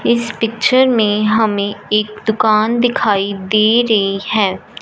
इस पिक्चर में हमें एक दुकान दिखाई दे रही हैं।